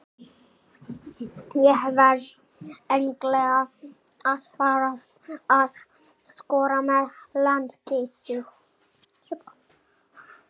Ég verð eiginlega að fara að skora með landsliðinu.